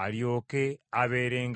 alyoke abeerenga mu mmwe.